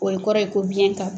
O ye kɔrɔ ye ko biyɛn ta